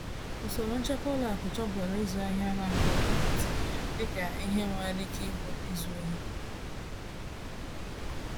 Usoro nchekwa ụlọ akụ chọpụtara ịzụ ahịa a na-abụghị nkịtị dịka ihe nwere ike ịbụ izu ohi.